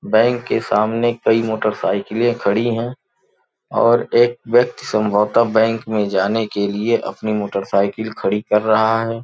Bank के सामने कई मोटरसाइकिलें (motorcycles) खड़ी हैं और एक व्यक्ति संभवतः बैंक में जाने के लिए अपनी मोटरसाइकिल खड़ी कर रहा है।